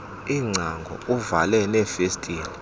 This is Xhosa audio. iingcango uvale neefestile